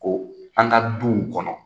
Ko an ka duw kɔnɔ